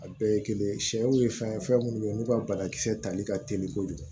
A bɛɛ ye kelen sɛw ye fɛn ye fɛn minnu bɛ yen n'u ka banakisɛ tali ka teli kojugu